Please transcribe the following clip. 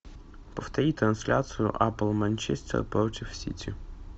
повтори трансляцию апл манчестер против сити